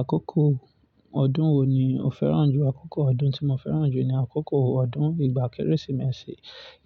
Àkókò ọdún wo ni o fẹ́ràn jù? Àkókò ọdún tí mo fẹ́ràn jù ni àkókò ọdún ìgbà Kérésìmesì.